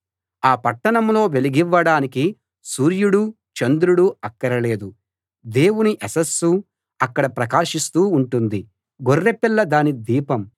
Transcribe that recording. ఆ పట్టణంలో వెలుగివ్వడానికి సూర్యుడూ చంద్రుడూ అక్కరలేదు దేవుని యశస్సు అక్కడ ప్రకాశిస్తూ ఉంటుంది గొర్రెపిల్ల దాని దీపం